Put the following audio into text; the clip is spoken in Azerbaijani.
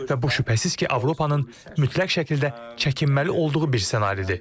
Və bu, şübhəsiz ki, Avropanın mütləq şəkildə çəkinməli olduğu bir ssenaridir.